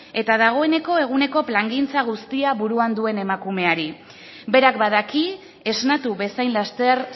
eta dagoeneko eguneko plangintza guztia buruan duen emakumeari berak badaki esnatu bezain laster